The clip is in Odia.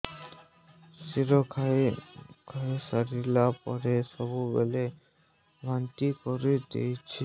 କ୍ଷୀର ଖାଇସାରିଲା ପରେ ସବୁବେଳେ ବାନ୍ତି କରିଦେଉଛି